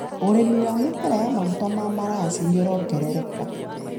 ũrĩmi wa mĩmera ya maguta ma maraci nĩũrongerereka.